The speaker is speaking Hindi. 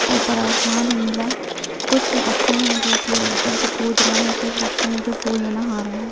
ऊपर आसमान है नीला कुछ बच्चे हैं जो कि ऊपर से कूद रहे हैं कुछ बच्चे जो पुल में नहा रहे हैं।